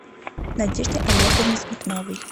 надежде олеговне смирновой